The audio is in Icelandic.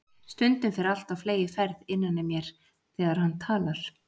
Stundum fer allt á fleygiferð innan í mér þegar hann talar.